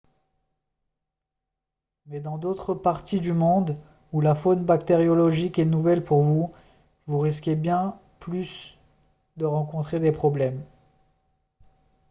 mais dans d'autres parties du monde où la faune bactériologique est nouvelle pour vous vous risquez bien plus de rencontrer des problèmes